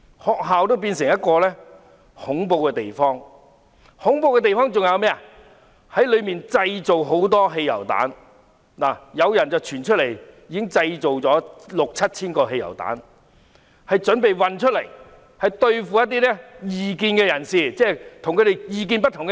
學校也變成一個恐怖的地方，恐怖之處在於裏面有人大量製造汽油彈，更有傳已製造六七千個汽油彈，準備運送出來對付異見人士，即跟他們意見不同的人。